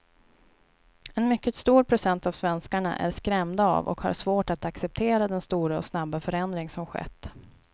En mycket stor procent av svenskarna är skrämda av och har svårt att acceptera den stora och snabba förändring som skett.